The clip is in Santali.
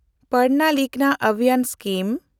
ᱯᱟᱲᱷᱱᱟ ᱞᱤᱠᱷᱱᱟ ᱚᱵᱷᱤᱡᱟᱱ ᱥᱠᱤᱢ